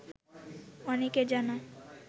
অনেকের জানা